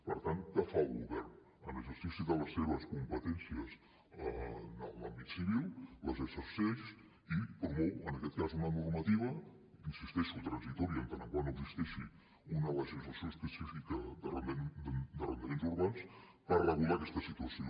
per tant què fa el govern en exercici de les seves competències en l’àmbit civil les exerceix i promou en aquest cas una normativa hi insisteixo transitòria en tant que no existeixi una legislació específica d’arrendaments urbans per regular aquesta situació